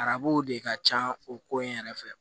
Arabu de ka ca o ko in yɛrɛ fɛ